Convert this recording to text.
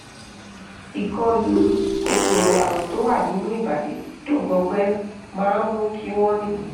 ìkọlù kòkòrò àrùn tó wà nínú ìbàdí tó gbọgbẹ́ máa ń mú kí wọ́n ní